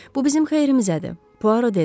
Bu bizim xeyrimizədir, Puaro dedi.